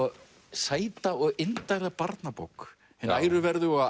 sæta og indæla barnabók hin æruverðuga